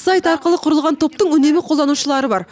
сайт арқылы құрылған топтың үнемі қолданушылары бар